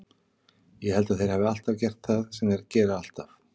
Ég held að þeir hafi gert það sem þeir gera alltaf.